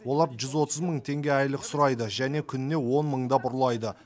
олар жүз отыз мың теңге айлық сұрайды және күніне он мыңдап ұрлайды